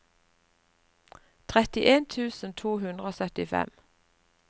trettien tusen to hundre og syttifire